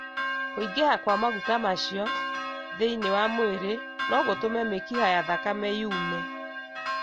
Kũingĩha kwa maguta macio thĩinĩ wa mwĩrĩ no gũtũme mĩkiha ya thakame yũme,